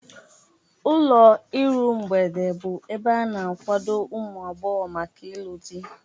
Ụlọ iru mgbede bụ ebe a na-akwado ụmụ agbọghọ maka ịlụ di.